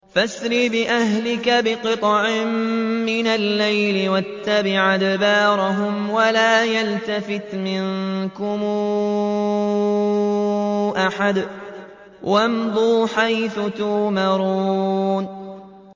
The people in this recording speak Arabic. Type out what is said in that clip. فَأَسْرِ بِأَهْلِكَ بِقِطْعٍ مِّنَ اللَّيْلِ وَاتَّبِعْ أَدْبَارَهُمْ وَلَا يَلْتَفِتْ مِنكُمْ أَحَدٌ وَامْضُوا حَيْثُ تُؤْمَرُونَ